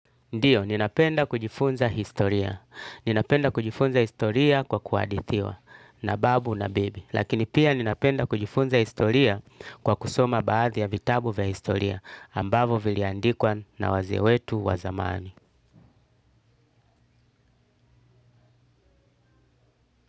Ndiyo, ninapenda kujifunza historia. Ninapenda kujifunza historia kwa kuhadithiwa na babu na bibi. Lakini pia ninapenda kujifunza historia kwa kusoma baadhi ya vitabu vya historia ambavo viliandikwa na wazee wetu wa zamani.